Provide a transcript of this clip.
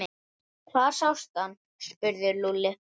Hvar sástu hann? spurði Lúlli.